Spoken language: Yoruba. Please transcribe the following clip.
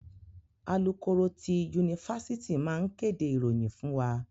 Alukoro ti yunifásítì máa n kéde ìròyìn fún wa.